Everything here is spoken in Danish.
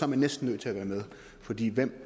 man næsten nødt til at være med fordi hvem